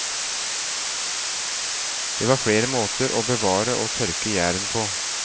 Det var flere måter å bevare og tørke gjæren på.